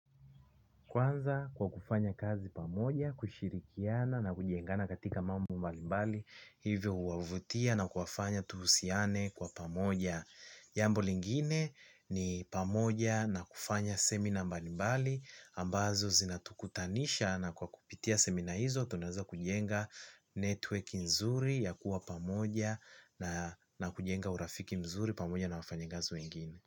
Kwanza kwa kufanya kazi pamoja, kushirikiana na kujengana katika mambo mbali mbali hivyo huwavutia na kuwafanya tuhusiane kwa pamoja. Jambo lingine ni pamoja na kufanya seminar mbali mbali ambazo zinatukutanisha na kwa kupitia seminar hizo tunaweza kujenga network nzuri ya kuwa pamoja na kujenga urafiki mzuri pamoja na wafanyikazi wengine.